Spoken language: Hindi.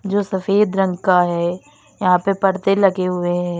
जो सफेद रंग का है यहां पे पर्दे लगे हुए हैं।